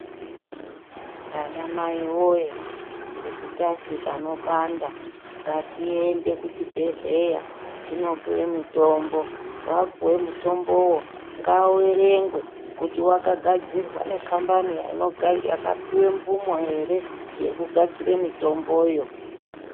Vana Mai woye kuti tazwe panopanda ngatiende kuchibhedhlera tinopuwe mitombo , wapuwei mutombowo ngauerengwe kuti wakagadzirwe ngekambani yakapiwe mvumo ere yekugadzire mitomboyo.